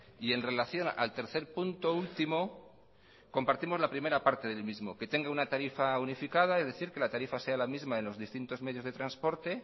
y en relación al tercer punto último compartimos la primera parte del mismo que tenga una tarifa unificada es decir que la tarifa sea la misma en los distintos medios de transporte